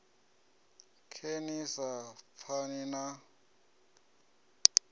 khe ni sa pfani na